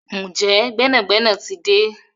Njé gbénàgbénà tí dé?